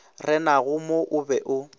renago mo o be o